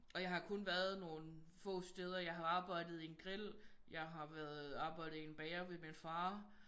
Og jeg har kun været nogle få steder jeg har arbejdet i en grill jeg har været arbejdet i en bager ved min far